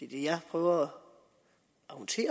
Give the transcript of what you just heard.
det jeg prøver